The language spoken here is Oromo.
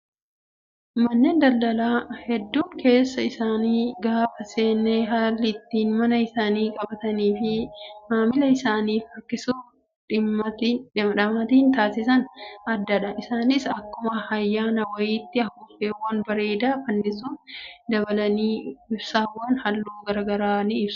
Manneen daldalaa hedduu keessa isaanii gaafa seenne haalli ittiin mana isaanii qabatanii fi maamila isaaniif harkisuuf dhamaatiin taasisan addadha. Isaanis akkuma ayyaana wayiitti afuuffeewwan bareedaa fannisuun dabalanii ibsaawwan halluu garaagaraa ni ibsu.